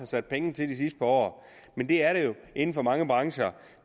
sat penge til det sidste par år men det er der jo inden for mange brancher